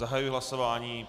Zahajuji hlasování.